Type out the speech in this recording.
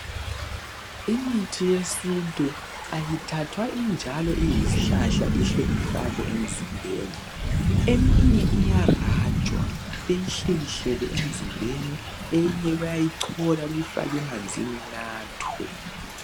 imithi yesintu ayithathwa injalo iyishlahla ihle ifakwe emzimbeni eminye iya rajwa beyihlikihlele emzimbeni eyinye bayayichola beyifake emanzini inathwe